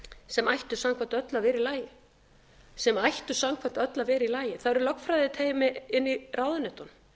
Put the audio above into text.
sem ættu samkvæmt öllu að vera í lagi það eru lögfræðiteymi inni í ráðuneytunum